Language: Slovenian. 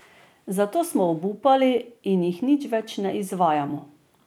Zato smo obupali in jih nič več ne izvajamo.